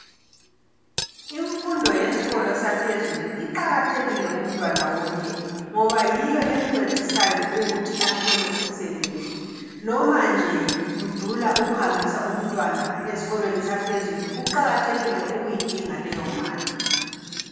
Imfundo yesikolo saphezulu iqakathekile kumntwana wonke ngoba yiyo emncedisayo ukuthi athole umsebenzi noma nje kudula ukuhambisa umntwana eskolweni saphezulu kuqakathekile ukuyidinga leyo mali.